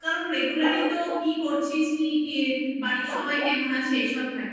regular ই তো কি করছিস কি কি বাড়ির সবাই কেমন আছে এই সব থাকি